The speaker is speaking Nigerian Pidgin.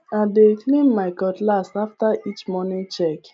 i dey clean my cutlass after each morning check